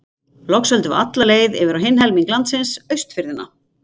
Loks höldum við alla leið yfir á hinn helming landsins, Austfirðina.